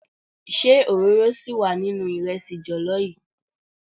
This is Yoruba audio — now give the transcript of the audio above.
Ṣé òróró síì wà nínú ìrẹsì jọ̀lọ́ yii?